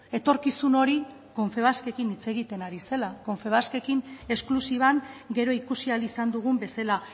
etorkizun hori confebaskekin hitz egiten ari zela confebaskekin esklusiban gero ikusi ahal izan dugun bezala